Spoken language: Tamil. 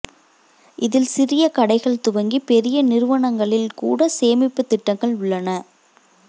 இதில் சிறிய கடைகள் துவங்கி பெரிய நிறுவனங்களில் கூட சேமிப்பு திட்டங்கள் உள்ளன